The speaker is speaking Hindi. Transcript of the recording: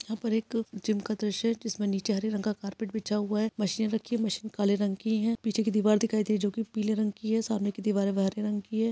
यहाँ पर एक जिम का दृश्य हैं जिसमे नीचे हरे रंग का कारपेट बिछा हुआ है मशीन रखी हैं मशीन काले रंग की हैं पीछे की दीवार दिखाई दे जो की पीले रंग की हैं सामने की दीवारे हरे रंग की हैं ।